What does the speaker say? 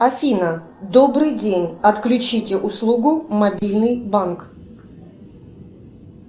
афина добрый день отключите услугу мобильный банк